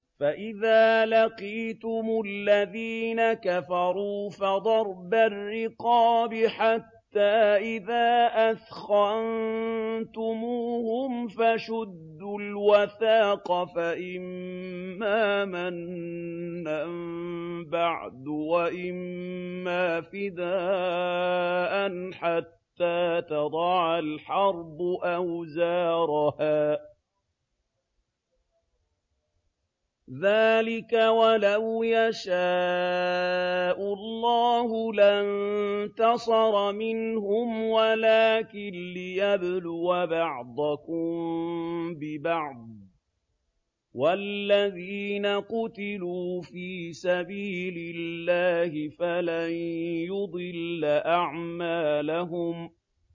فَإِذَا لَقِيتُمُ الَّذِينَ كَفَرُوا فَضَرْبَ الرِّقَابِ حَتَّىٰ إِذَا أَثْخَنتُمُوهُمْ فَشُدُّوا الْوَثَاقَ فَإِمَّا مَنًّا بَعْدُ وَإِمَّا فِدَاءً حَتَّىٰ تَضَعَ الْحَرْبُ أَوْزَارَهَا ۚ ذَٰلِكَ وَلَوْ يَشَاءُ اللَّهُ لَانتَصَرَ مِنْهُمْ وَلَٰكِن لِّيَبْلُوَ بَعْضَكُم بِبَعْضٍ ۗ وَالَّذِينَ قُتِلُوا فِي سَبِيلِ اللَّهِ فَلَن يُضِلَّ أَعْمَالَهُمْ